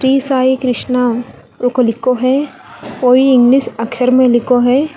साईं कृष्णा है कोई इंग्लिश अक्षर में लिखो है।